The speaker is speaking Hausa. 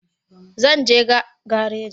Zan je garaji in shiga mota